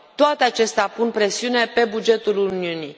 Toate acestea pun presiune pe bugetul Uniunii.